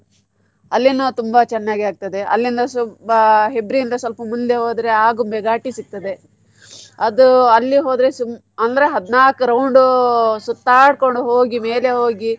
ಅಲ್ಲಿನೂ ತುಂಬಾ ಚೆನ್ನಾಗಿ ಆಗ್ತದೇ ಅಲ್ಲಿಂದ ಸುಬ~ Hebri ಇಂದ ಸ್ವಲ್ಪಾ ಮುಂದೆ ಹೋದ್ರೆ Agumbe Ghat ಸಿಗ್ತದೆ ಅದೂ ಅಲ್ಲಿ ಹೋದ್ರೆ ಸುಂ~ ಅಂದ್ರೆ ಹದ್ನಾಕ್ round ಸುತ್ತಾಡ್ಕೊಂಡು ಹೋಗಿ ಮೇಲೆ ಹೋಗಿ.